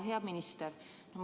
Hea minister!